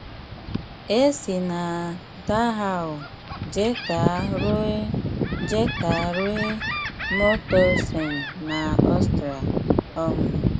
E si na Dahau jeeta rue jeeta rue Mauthausen na Austria. um